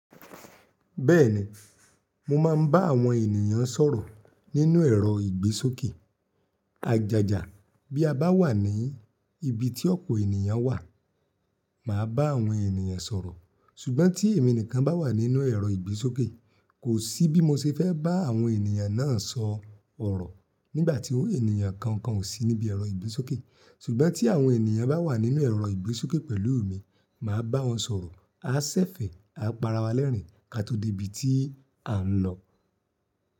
Bẹ́ẹ̀ni, mo máa ń bá àwọn ènìyàn sọ̀rọ̀ nínú ẹ̀rọ ìgbésókè. Ajàjà bí a bá wà ní ibi tí ọ̀pọ̀ ènìyàn wà, màá bá àwọn ènìyàn sọ̀rọ̀. Ṣùgbọ́n tí èmi nìkan bá wà nínú ẹ̀rọ ìgbésókè, kò sí bí mo ṣe fẹ́ bá àwọn ènìyàn náà sọ ọ̀rọ̀ nígbà tí ènìyàn kankan ò sí níbi ẹ̀rọ ìgbésókè. Ṣùgbọ́n tí àwọn ènìyàn bá wà nínú ẹ̀rọ ìgbésókè pẹ̀lú mi, màá bá wọn sọ̀rọ̀, a ṣẹ̀fẹ̀, a para wa lẹ́rín ká tó dé ibi tí à ń lọ.